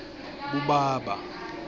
kubaba